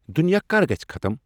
دُنیا کر گژِھہ ختم ؟